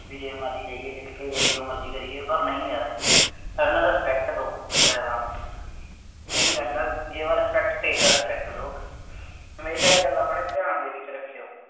ਬਈ ਜਿਵੇਂ ਮਰਜ਼ੀ ਜਾਈਏ, ਲਿਟ ਕੇ ਜਾਈਏ, ਜੋ ਮਰਜ਼ੀ ਕਰੀਏ, ਪਰ ਨਹੀਂ ਯਾਰ, ਪਹਿਲਾਂ respect ਦਿਉ, ਡਰਾਈਵਰਾਂ ਨੂੰ, main ਗੱਲ ਹੈ give respect take respect ਹਮੇਸ਼ਾ ਇਹ ਗੱਲ ਆਪਣੇ ਧਿਆਨ ਦੇ ਵਿੱਚ ਰੱਖਿਉ।